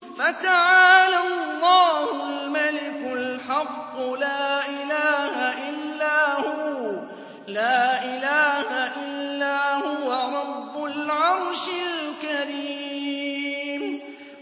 فَتَعَالَى اللَّهُ الْمَلِكُ الْحَقُّ ۖ لَا إِلَٰهَ إِلَّا هُوَ رَبُّ الْعَرْشِ الْكَرِيمِ